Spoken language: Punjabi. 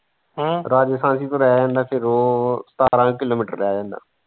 ਹਮ ਰਾਜਸਥਾਨ ਤੋਂ ਰਹਿ ਜਾਂਦਾ ਫਿਰ ਉਹ ਸਤਾਰਾਂ ਕਿਲੋਮਿਟਰ ਰਹਿ ਜਾਂਦਾ।